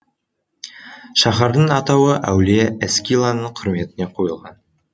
шаһардың атауы әулие эскиланың құрметіне қойылған